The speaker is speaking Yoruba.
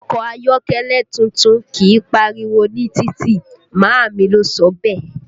Ọkọ ayọ́kẹ́lẹ́ tuntun kìí pariwo ní títì, màámi ló sọ bẹ́ẹ̀